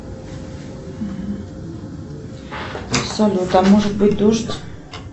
салют а может быть дождь